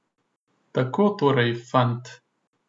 Tako torej, fant.